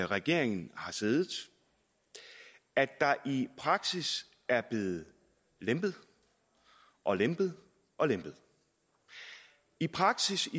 regeringen har siddet at der i praksis er blevet lempet og lempet og lempet i praksis